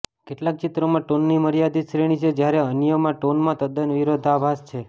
કેટલાક ચિત્રોમાં ટોનની મર્યાદિત શ્રેણી છે જ્યારે અન્યમાં ટોનમાં તદ્દન વિરોધાભાસ છે